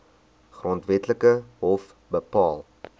grondwetlike hof bepaal